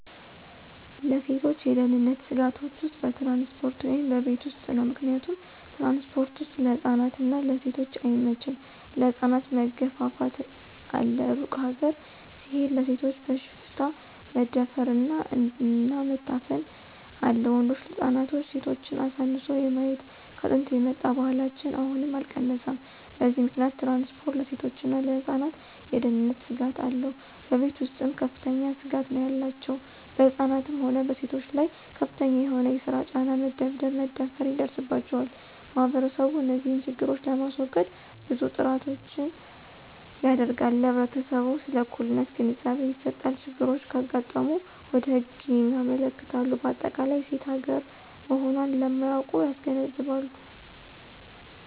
ለሴቶች የደህንነት ስጋቶች ውስጥ በትራንስፖርት ወይም በቤት ውስጥ ነው። ምክንያቱም ትራንስፖርት ወስጥ ለህፃናት እና ለሴቶች አይመቸም ለህፃናት መገፍፍት አለ እሩቅ ሀገር ሲሆድ ለሴቶች በሽፍታ መደፍር አለ እና መታፈን አለ ወንዶች ህፃናትና ሴቶችን አሳንሶ የማየት ከጥንት የመጣ ባህላችን አሁንም አልቀነሰም በዚህ ምከንያት ትራንስፖርት ለሴቶችና ለህፃናት የደህነንት ስጋት አለው። በቤተ ውስጥም ከፍተኛ ስጋት ነው ያላቸው በህፃናትም ሆነ በሴቶች ላይ ከፍተኛ የሆነ የሰራ ጫና፣ መደብደብ፣ መደፈራ ይደርስባቸዋል። ማህበረሰቡ እንዚህን ችግሮች ለማሰወገድ ብዙ ጥራቶችን ያደረጋል ለህብረተሰቡ ስለ እኩልነት ግንዛቤ ይሰጣል፣ ችግሮች ካጋጠሙ ወደ ህግ ያመለክታል በአጠቃላይ ሴት ሀገራ መሆኖን ለማያውቁት ያስገነዝባሉ።